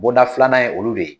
Bonda filanan ye olu de ye.